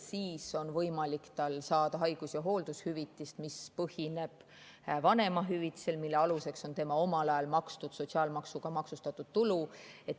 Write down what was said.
Siis on tal võimalik saada haigus‑ ja hooldushüvitist, mis põhineb vanemahüvitisel, mille aluseks on tema omal ajal makstud sotsiaalmaksuga maksustatud tulu.